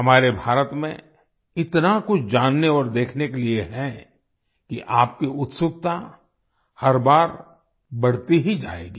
हमारे भारत में इतना कुछ जानने और देखने के लिए है कि आपकी उत्सुकता हर बार बढ़ती ही जाएगी